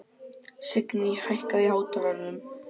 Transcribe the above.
Signý, hækkaðu í hátalaranum.